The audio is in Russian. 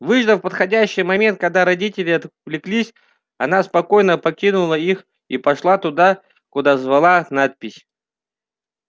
выждав подходящий момент когда родители отвлеклись она спокойно покинула их и пошла туда куда звала надпись